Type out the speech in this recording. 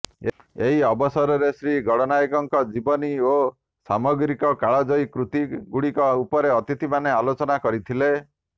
ଏହି ଅବସରରେ ଶ୍ରୀ ଗଡନାୟକଙ୍କ ଜୀବନୀ ଓ ସାମଗ୍ରିକ କାଳଜୟୀ କୃତି ଗୁଡିକ ଉପରେ ଅତିଥିମାନେ ଆଲୋଚନା କରିଥିଲେ